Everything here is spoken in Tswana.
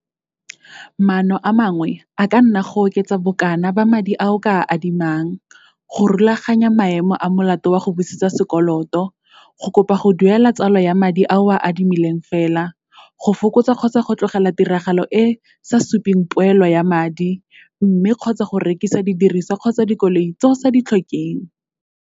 Maano a mangwe a ka nna go oketsa bokana ba madi a o ka a adimang, go rulaganya maemo a molato wa go busetsa sekoloto, go kopa go duela tsalo ya madi a o a adimileng fela, go fokotsa kgotsa go tlogela tiragalo e e sa supeng poelo ya madi, mme kgotsa go rekisa didiriswa kgotsa dikoloi tse o sa di tlhokeng.